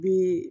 Bi